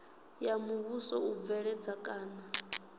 ya muvhuso u bveledza kana